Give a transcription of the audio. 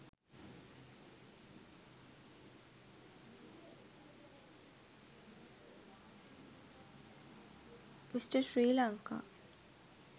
mr sri lanka